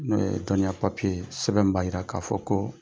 N'o ye dɔnniya papiye ye sɛbɛn min b'a jira k'a fɔ ko